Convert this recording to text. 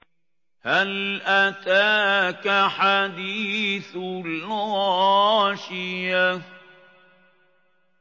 هَلْ أَتَاكَ حَدِيثُ الْغَاشِيَةِ